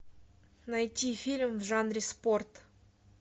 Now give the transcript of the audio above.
найти фильм в жанре спорт